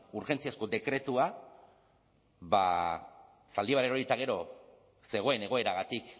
urgentziazko dekretua ba zaldibar erori eta gero zegoen egoeragatik